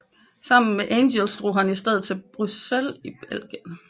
Sammen med Engels drog han i stedet til Bryssel i Belgien